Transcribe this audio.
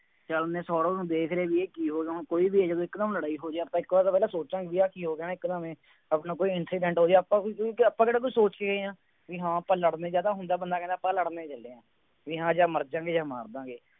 ਜਦ ਉਹਨੇ ਸੌਰਵ ਨੇ ਦੇਖ ਲਿਆ, ਬਈ ਇਹ ਕੀ ਹੋਣਾ, ਕੋਈ ਵੀ ਹੈ, ਜਦੋਂ ਇੱਕ ਦਮ ਲੜਾਈ ਹੋ ਜਾਏ ਆਪਾਂ ਇੱਕ ਵਾਰ ਤਾਂ ਪਹਿਲਾ ਸੋਚਾਂਗੇ, ਆਹ ਕੀ ਹੋ ਗਿਆ ਨਾ ਇੱਕ ਦਮ ਹੀ, ਆਪਣਾ ਕੋਈ incident ਹੋ ਜਾਏ ਆਪਾਂ ਕੋਈ ਆਪਾਂ ਕਿਹੜਾ ਕੋਈ ਸੋਚ ਕੇ ਗਏ ਹਾਂ, ਬਈ ਹਾਂ ਆਪਾਂ ਲੜ ਲਏ ਜਾਂ ਤਾਂ ਹੁੰਦਾ ਬੰਦਾ ਕਹਿੰਦਾ ਆਪਾ ਲੜ ਲਏ ਬਈ ਹਾਂ ਜਾਂ ਮਰਜਾਂ ਗੇ ਜਾ ਮਰਦਿਆਂਗੇ